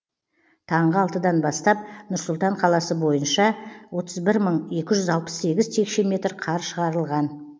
таңғы алтыдан бастап нұр сұлтан қаласы бойынша отыз бір мың екі жүз алпыс сегіз текше метр қар шығарылған